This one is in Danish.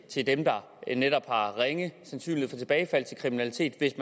til dem der netop har ringe sandsynlighed for tilbagefald til kriminalitet